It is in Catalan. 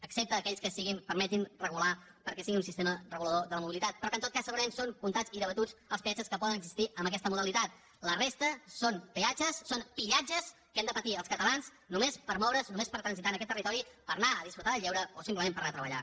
excepte aquells que permetin regular perquè sigui un sistema regulador de la mobilitat però que en tot cas segurament són comptats i debatuts els peatges que poden existir amb aquesta modalitat la resta són peatges són pillatges que hem de patir els catalans només per moure’ns només per transitar en aquest territori per anar a gaudir del lleure o simplement per anar a treballar